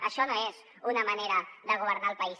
això no és una manera de governar el país